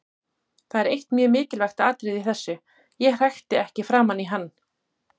Það er eitt mjög mikilvægt atriði í þessu: Ég hrækti ekki framan í hann.